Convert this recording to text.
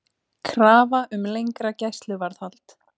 Krafa um lengra gæsluvarðhald